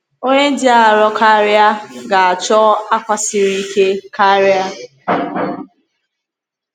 Onye dị arọ karịa ga-achọ akwa siri ike karị.